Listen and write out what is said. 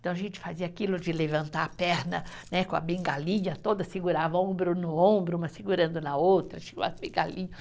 Então, a gente fazia aquilo de levantar a perna né, com a bengalinha toda, segurava ombro no ombro, uma segurando na outra,